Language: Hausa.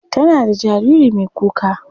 Tana da jariri mai kuka.